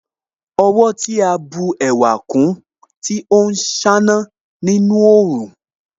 Ọwọ́ tí a bù ẹwà kún Tó ń ṣáná nínú òòrùn